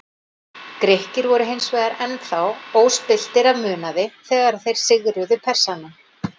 Grikkir voru hins vegar enn þá óspilltir af munaði þegar þeir sigruðu Persana.